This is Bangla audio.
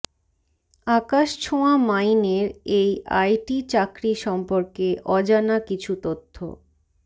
আকাশছোঁয়া মাইনের এই আইটি চাকরি সম্পর্কে অজানা কিছু তথ্য